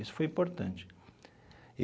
Isso foi importante e.